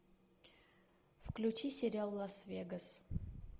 включи сериал лас вегас